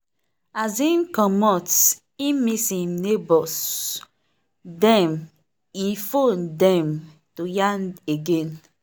as him comot e miss him neighbors dem e phone dem to yarn again.